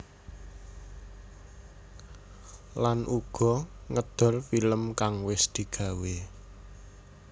Lan uga ngedol film kang wis digawé